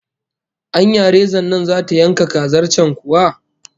Anya rezan nan zata yanka kazar can kuwa?